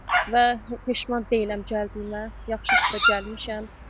Və peşman deyiləm gəldiyimə, yaxşı ki də gəlmişəm.